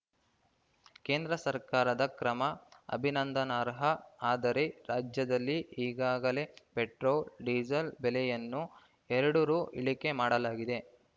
ಕೇಂದ್ರ ಸರ್ಕಾರದ ಕ್ರಮ ಅಭಿನಂದನಾರ್ಹ ಆದರೆ ರಾಜ್ಯದಲ್ಲಿ ಈಗಾಗಲೇ ಪೆಟ್ರೋಲ್‌ ಡೀಸೆಲ್‌ ಬೆಲೆಯನ್ನು ಎರಡು ರು ಇಳಿಕೆ ಮಾಡಲಾಗಿದೆ